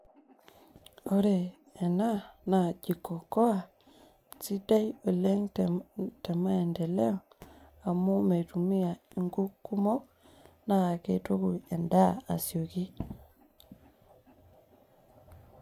ore ena naa jiko okoa, sidai oleng, temaendeleo, amu meitumia, inkuk kumok, naakituku edaa asioki.